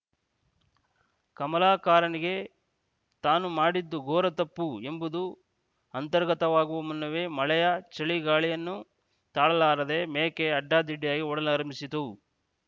ಕಮಲಾಕರನಿಗೆ ತಾನು ಮಾಡಿದ್ದು ಘೋರ ತಪ್ಪು ಎಂಬುದು ಅಂತರ್ಗತವಾಗುವ ಮುನ್ನವೇ ಮಳೆಯ ಚಳಿಗಾಳಿಯನ್ನು ತಾಳಲಾರದ ಮೇಕೆ ಅಡ್ಡಾದಿಡ್ಡಿಯಾಗಿ ಓಡಲಾರಂಭಿಸಿತು